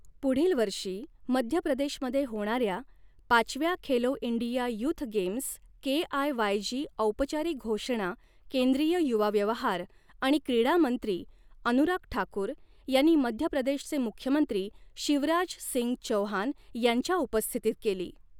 पुढील वर्षी मध्य प्रदेशमध्ये होणाऱ्या पाचव्या Khelo India youth games KIYG औपचारिक घोषणा केंद्रीय युवा व्यवहार आणि क्रीडा मंत्री अनुराग ठाकूर यांनी मध्य प्रदेशचे मुख्यमंत्री शिवराज सिंग चौहान यांच्या उपस्थितीत केली.